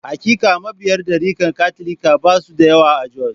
Hakika, mabiya darikar Katolika ba su da yawa a Jos.